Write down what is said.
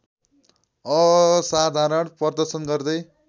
असाधारण प्रदर्शन गर्दै